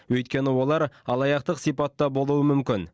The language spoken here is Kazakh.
өйткені олар алаяқтық сипатта болуы мүмкін